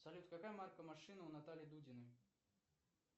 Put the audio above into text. салют какая марка машина у натальи дудиной